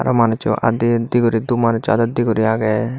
aa manuccho adde adde guri doob manuccho adod dey guri agey.